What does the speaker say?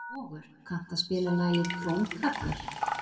Vogur, kanntu að spila lagið „Krómkallar“?